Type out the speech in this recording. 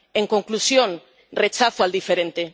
En conclusión rechazo al diferente.